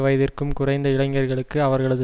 வயதிற்கும் குறைந்த இளைஞர்களுக்கு அவர்களது